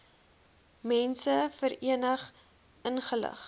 mense verenig ingelig